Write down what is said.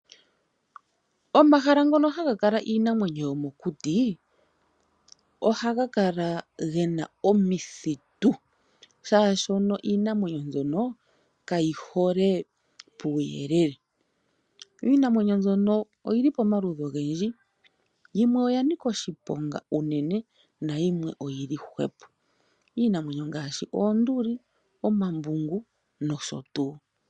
Omahala ngono haga kala iinamwenyo yomokuti ohaga kala gena omithitu, shaashi iinamwenyo mbyono kayi hole puuyelele, yo iinamwenyo mbyono oyili pomaludhi ogendji, yimwe oya nika oshiponga uunene nayilwe oyili hwepo. Iinamwenyo ongaashi oonduli, omambungu nosho tuu.